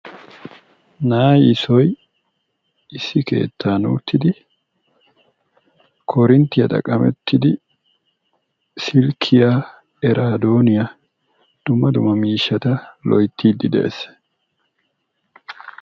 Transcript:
Na'ay issoy issi keettan uttidi korinttiyaa xaqqamettidi silkkiya oradooniya dumma dumma miishshat loyttide de'ees.